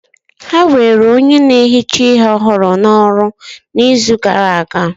Ha were onye na-ehicha ihe ọhụrụ n'ọrụ n'izu gara aga